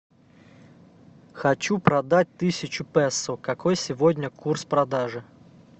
хочу продать тысячу песо какой сегодня курс продажи